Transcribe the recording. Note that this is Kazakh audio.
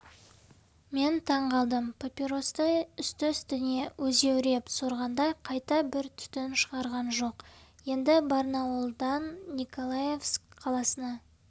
мен таң қалдым папиросты үсті-үстіне өзеуреп сорғанда қайта бір түтін шығарған жоқ енді барнауылдан николаевск қаласына